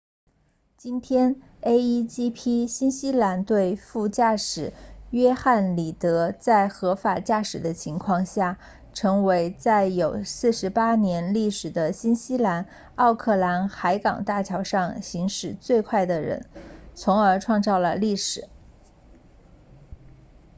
今天 a1gp 新西兰队副驾驶约翰里德 jonny reid 在合法驾驶的情况下成为在有48年历史的新西兰奥克兰海港大桥上行驶最快的人从而创造了历史